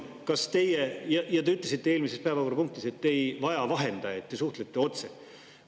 Te ütlesite eelmises päevakorrapunktis, et te ei vaja vahendajaid, te suhtlete otse.